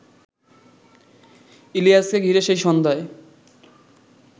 ইলিয়াসকে ঘিরে সেই সন্ধ্যায়